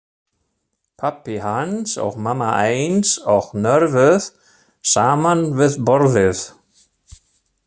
Pabbi hans og mamma eins og njörvuð saman við borðið.